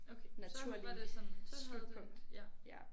Okay så var det sådan så havde det ja